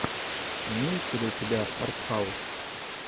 имеется ли у тебя артхаус